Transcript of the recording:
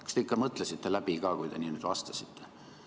Kas te ikka mõtlesite läbi, kui niimoodi vastasite?